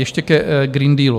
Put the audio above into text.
Ještě ke Green Dealu.